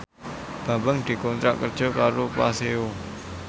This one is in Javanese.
Bambang dikontrak kerja karo Paseo